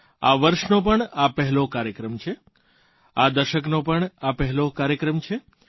આ વર્ષનો પણ આ પહેલો કાર્યક્રમ છે આ દશકનો પણ આ પહેલો કાર્યક્રમ છે